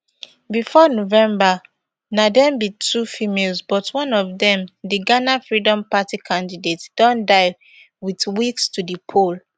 bifor november na dem be two females but one of dem di ghana freedom party candidate don die wit weeks to di poll